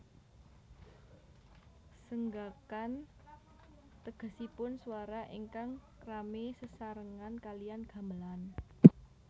Senggakan tegesipun swara ingkang rame sesarengan kaliyan gamelan